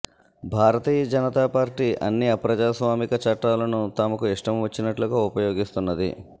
భారతీయ Janata party అన్ని అప్రజాస్వామిక చట్టాలను తమకు ఇష్టం వచ్చినట్టుగా ఉపయోగిస్తున్నది